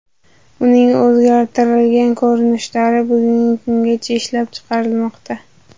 Uning o‘zgartirilgan ko‘rinishlari bugungi kungacha ishlab chiqarilmoqda.